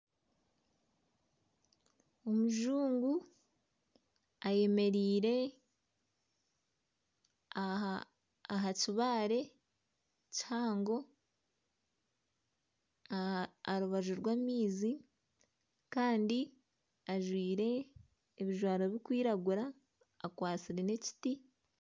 Omujungu ayemereire aha kibaare kihango aha rubaju rw'amaizi kandi ajwaire ebijwaro birikwiragura akwatsire n'ekiti.